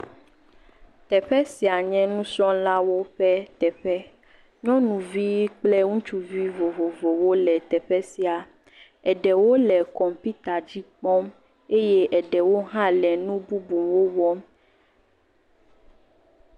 Teƒe sia nye nusrɔ̃lawo ƒe teƒe, nyɔnuvi kple ŋutsuvi vovovowo le teƒe sia. Eɖewo le kɔmpita dzi kpɔm eye eɖewo hã le nu bubuwo wɔm.